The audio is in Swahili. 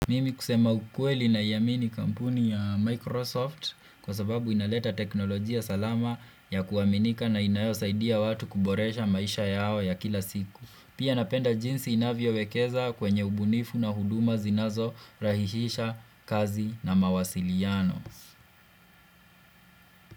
Mimi kusema ukweli naiamini kampuni ya Microsoft kwa sababu inaleta teknolojia salama ya kuaminika na inayosaidia watu kuboresha maisha yao ya kila siku. Pia napenda jinsi inavyo wekeza kwenye ubunifu na huduma zinazo rahihisha kazi na mawasiliano.